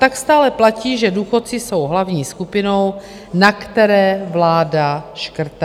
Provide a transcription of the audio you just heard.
Tak stále platí, že důchodci jsou hlavní skupinou, na které vláda škrtá.